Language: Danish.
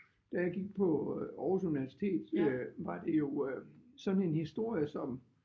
Da jeg gik på Aarhus Universitet øh var det jo øh sådan en historie som